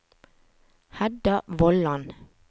Hedda Vollan